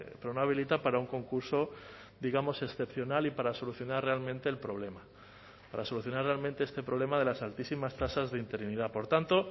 pero no habilita para un concurso digamos excepcional y para solucionar realmente el problema para solucionar realmente este problema de las altísimas tasas de interinidad por tanto